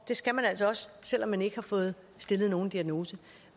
det skal man altså også selv om man ikke har fået stillet nogen diagnose